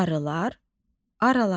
Arılar aralanır.